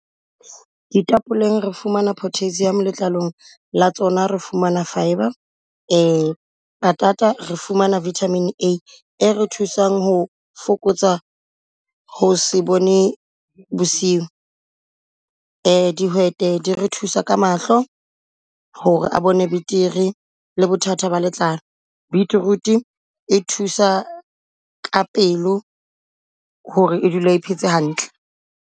Ditapleng e fumana potassium, letlalong la tsona re fumana fibre. Patata re fumana vitamin A e re thusang ho fokotsa ho se bone bosiu. Dihwete di re thusa ka mahlo ho re a bone betere le bothata ba letlao. Beetroot e thusa ka pelo ho re e dule e phetse hantle.